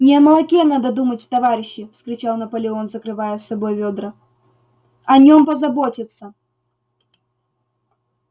не о молоке надо думать товарищи вскричал наполеон закрывая собой вёдра о нём позаботятся